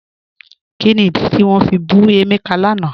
Kíni ìdí tí wọn fi bù Emeka lánà?